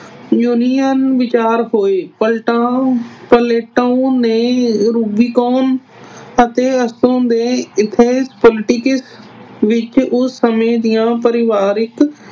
union ਵਿਚਾਰ ਹੋਏ Plato ਨੇ Rubicon ਅਤੇ ਉੱਥੋਂ ਦੇ ethics politics ਵਿੱਚ ਉਸ ਸਮੇਂ ਦੀਆਂ ਪਰਿਵਾਰਿਕ